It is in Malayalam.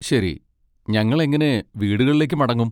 ശരി, ഞങ്ങൾ എങ്ങനെ വീടുകളിലേക്ക് മടങ്ങും?